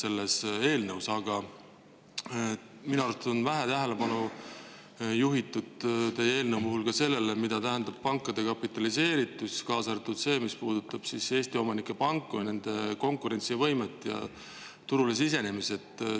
Aga minu arvates on teie eelnõu puhul vähe tähelepanu juhitud sellele, mida tähendab pankade kapitaliseeritus, kaasa arvatud see, mis puudutab Eesti omanike panku, nende konkurentsivõimet ja turule sisenemist.